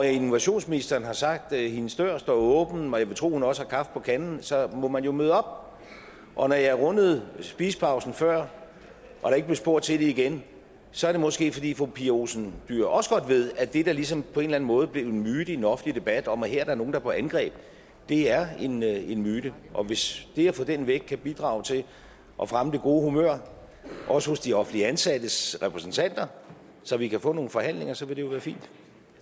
innovationsministeren har sagt at hendes dør står åben og jeg vil tro at hun også har kaffe på kanden så må man jo møde op og når jeg rundede spisepausen før og der ikke blev spurgt til det igen så er det måske fordi fru pia olsen dyhr også godt ved at det der ligesom på en eller anden måde er blevet en myte i den offentlige debat om at her er der nogle der er på angreb er en en myte og hvis det at få den væk kan bidrage til at fremme det gode humør også hos de offentligt ansattes repræsentanter så vi kan få nogle forhandlinger så ville det jo være fint